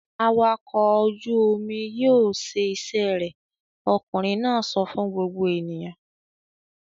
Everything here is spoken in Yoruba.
"Awakọ̀ ojú-omi yóò ṣe iṣẹ́ rẹ̀!" Ọkùnrin náà sọ fún gbogbo ènìyàn.